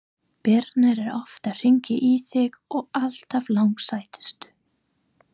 Birna er oft að hringja í þig og alltaf langsætust!